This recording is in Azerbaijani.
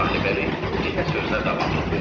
Sahibəli yenə sözünə davam etdi.